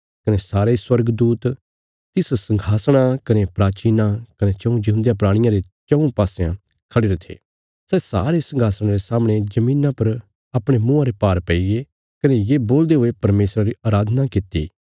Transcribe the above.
कने सारे स्वर्गदूत तिस संघासणा कने प्राचीनां कने चऊँ जिऊंदेयां प्राणियां रे चऊँ पसयां खढ़िरे थे सै सारे संघासणा रे सामणे धरतिया पर अपणे मुँआं रे भार पैईगे कने ये बोलदे हुये परमेशरा री अराधना कित्ती